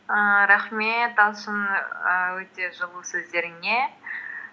ііі рахмет талшын ііі өте жылы сөздеріңе